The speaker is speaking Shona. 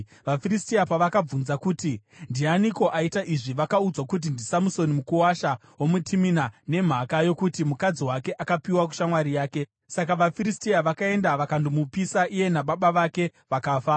VaFiristia pavakabvunza kuti, “Ndianiko aita izvi?” vakaudzwa kuti, “NdiSamusoni, mukuwasha womuTimina, nemhaka yokuti mukadzi wake akapiwa kushamwari yake.” Saka vaFiristia vakaenda vakandomupisa iye nababa vake vakafa.